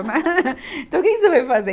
Então que que você veio fazer?